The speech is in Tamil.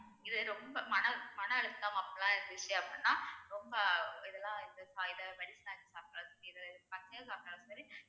இது ரொம்ப மன அழு~ மனம் அழுத்தம் அப்படிலாம் இருந்துச்சு அப்படின்னா ரொம்ப இதுல இந்த இத வடிச்சி சாப்பிட்டாலும் சரி இது பச்சயா சாப்பிட்டாலும் சரி